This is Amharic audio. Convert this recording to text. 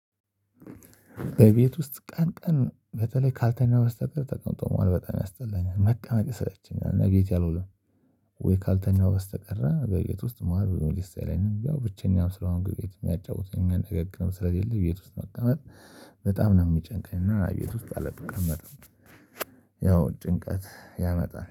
በቤት ውስጥ ቀን ቀን በተለይ ካልተኛው በስተቀር ተቀምጦ መዋል በጣም ያስጠላኛል መቀመጥ ይሰለቸኛል እቤቴ አልውልም። ወይ ካልተኛው በስተቀር በቤት ውስጥ መዋል ብዙም ደስ አይለኝም የው ብቸኛው ስለሆንኩ ቤት የሚያጫውተኝ ነገር ግን ስለሌለ ቤት ውስጥ መቀመጥ በጣም ነው የሚጨንቀኝ እና ቤት ውስጥ አልቀመጥም። ያው ጭንቀት ያመጣል